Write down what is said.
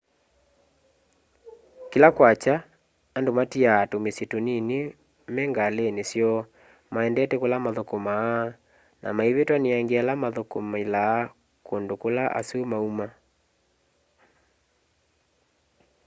kĩla kwakya andũ matĩaa tũmĩsyĩ tũnĩnĩ mengalĩnĩ syoo maendete kũla mathũkũmaa na maĩvĩtwa nĩ angĩ ala mathũkũmĩlaa kũndũ kũla asũ maũma